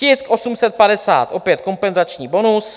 Tisk 850, opět kompenzační bonus.